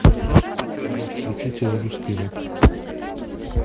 салют включите русский рэп